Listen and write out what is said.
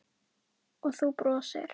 Og þú brosir.